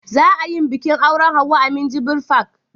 Za a yin bikin auren Hauwa a minjibir fak